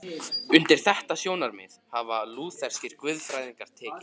Undir þetta sjónarmið hafa lútherskir guðfræðingar tekið.